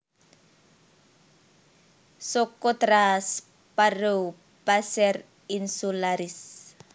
Socotra Sparrow Passer insularis